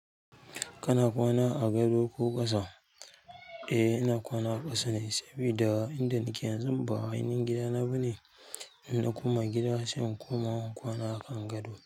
Kana kwana a gado ko ƙasa? Eh, ina kwana a ƙasa ne sabida inda nake yanzu ba ainihin gida na ba ne, ina koma gida sai in koma kwana a kan gado.